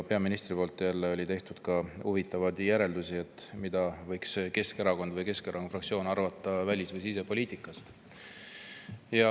Peaminister oli jälle teinud ka huvitavaid järeldusi selle kohta, mida võiks Keskerakond või Keskerakonna fraktsioon arvata välis‑ või sisepoliitikast.